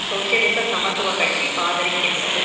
சோசியலிச சமத்துவ கட்சி ஆதரிக்கின்றது